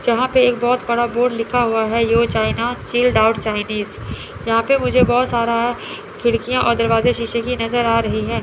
जहां पे एक बहोत बड़ा बोर्ड लिखा हुआ है you China child out Chinese यहां पे मुझे बहोत सारा खिड़कियां और दरवाजे शीशे कि नजर आ रही है।